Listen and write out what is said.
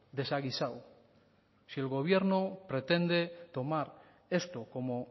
desaguisado si el gobierno pretende tomar esto como